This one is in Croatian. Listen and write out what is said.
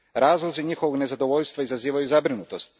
Razlozi njihovog nezadovoljstva izazivaju zabrinutost.